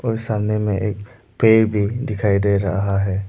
सामने में एक पेड़ भी दिखाई दे रहा है।